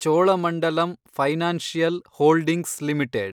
Cholamandalam financial holdings limited